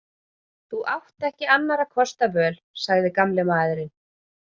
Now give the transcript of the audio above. Þú átt ekki annarra kosta völ sagði gamli maðurinn.